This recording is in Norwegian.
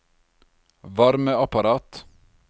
varmeapparat